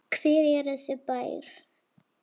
Hver er þessi bær?